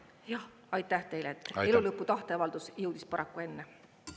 Jah, aitäh teile, elu lõpu tahteavaldus jõudis paraku enne.